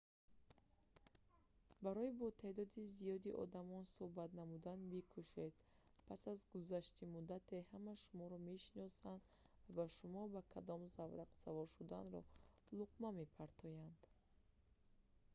барои бо теъдоди зиёди одамон сӯҳбат намудан бикӯшед пас аз гузашти муддате ҳама шуморо мешиносанд ва ба шумо ба кадом заврақ савор шуданро луқма мепартоянд